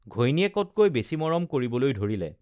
ঘৈণীয়েকতকৈ বেছি মৰম কৰিবলৈ ধৰিলে